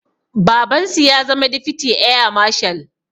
Babansu ya zama difiti eya mashal